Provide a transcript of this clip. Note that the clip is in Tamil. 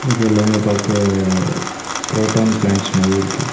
இது எல்லாமே பாக்க குரோட்டான் பிளன்ட்ஸ் மாரி இருக்கு.